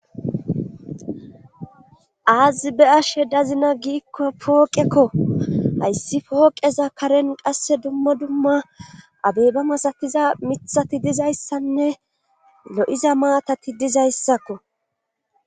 aazi be'ashe dazina giikko pooqekko hayssi pooqeza karen qasse dumma dumma abey ba masatiza mithati dizayssanne lo7iza maatati dizayssakko